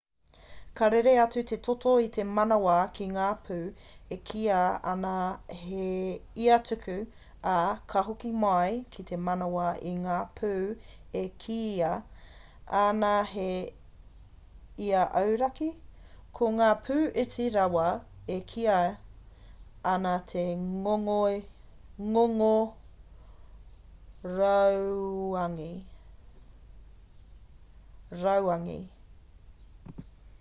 ka rere atu te toto i te manawa ki ngā pū e kīia ana he ia-tuku ā ka hoki mai ki te manawa ki ngā pū e kīia ana he ia-auraki ko ngā pū iti rawa e kīia ana he ngongo rauangi